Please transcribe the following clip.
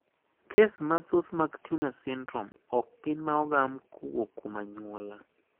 Kes mathoth mag Turner syndrome okgin maogam kowuok kuom anyuola.